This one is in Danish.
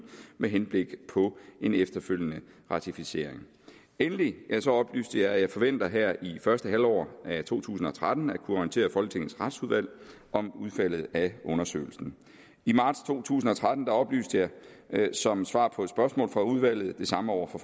med henblik på en efterfølgende ratificering endelig oplyste jeg at jeg forventer her i første halvår af to tusind og tretten at kunne orientere folketingets retsudvalg om udfaldet af undersøgelsen i marts to tusind og tretten oplyste jeg som svar på spørgsmål fra udvalget det samme over for